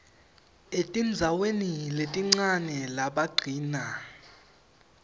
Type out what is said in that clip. etindzaweni letincane labagcina